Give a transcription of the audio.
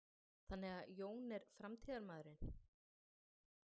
Sindri: Þannig að Jón er framtíðarmaðurinn?